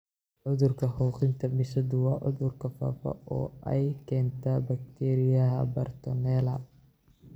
Cudurka xoqitaanka bisadu waa cudur faafa oo ay keento bakteeriyada bartonella.